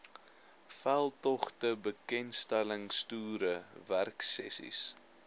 veldtogte bekendstellingstoere werksessies